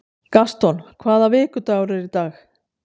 Gaston, hvaða vikudagur er í dag?